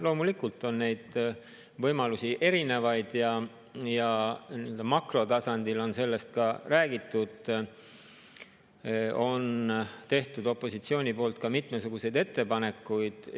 Loomulikult on neid võimalusi erinevaid, nii-öelda makrotasandil on sellest räägitud ja opositsioon on teinud ka mitmesuguseid ettepanekuid.